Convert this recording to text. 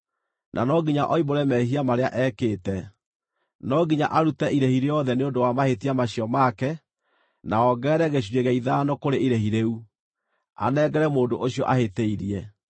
na no nginya oimbũre mehia marĩa ekĩte. No nginya arute irĩhi rĩothe nĩ ũndũ wa mahĩtia macio make, na ongerere gĩcunjĩ gĩa ithano kũrĩ irĩhi rĩu, anengere mũndũ ũcio ahĩtĩirie.